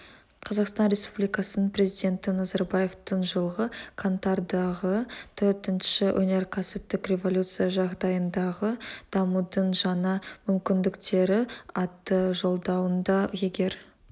қазақстан республикасының президенті назарбаевтың жылғы қаңтардағы төртінші өнеркәсіптік революция жағдайындағы дамудың жаңа мүмкіндіктері атты жолдауында егер